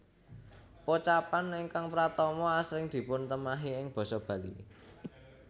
Pocapan ingkang pratama asring dipuntemahi ing basa Bali